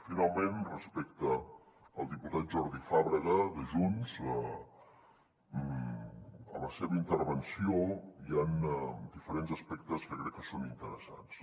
finalment respecte al diputat jordi fàbrega de junts a la seva intervenció hi han diferents aspectes que crec que són interessants